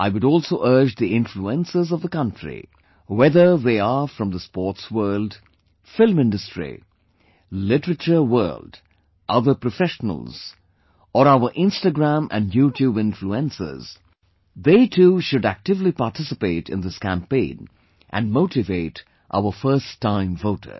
I would also urge the influencers of the country, whether they are from the sports world, film industry, literature world, other professionals or our Instagram and YouTube influencers, they too should actively participate in this campaign and motivate our first time voters